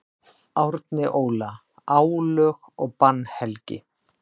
Árni Óla: Álög og bannhelgi.